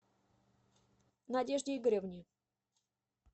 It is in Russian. надежде игоревне